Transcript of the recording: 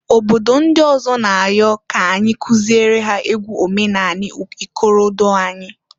Obodo ndị ọzọ n'ayọzị k'anyị kụziere ha egwu omenanị ikorodo anyị.